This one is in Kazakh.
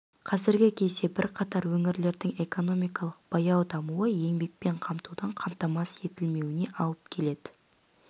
қазіргі кезде бірқатар өңірлердің экономикалық баяу дамуы еңбекпен қамтудың қамтамасыз етілмеуіне алып келеді